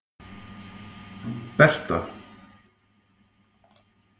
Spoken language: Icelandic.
Berta